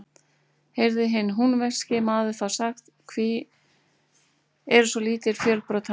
Heyrði hinn húnvetnski maður þá sagt: Hví eru svo lítil fjörbrot hans?